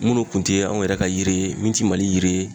Minnu tun tɛ anw yɛrɛ ka yiri ye min tɛ Mali yiri ye